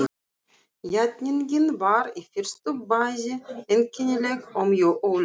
Játningin var í fyrstu bæði einkennileg og mjög óljós.